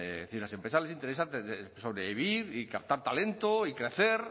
decir a las empresas les interesa sobrevivir y captar talento y crecer